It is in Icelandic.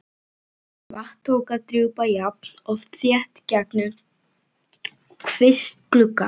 Vatn tók að drjúpa jafnt og þétt gegnum kvistgluggann.